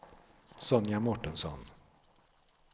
Sonja Mårtensson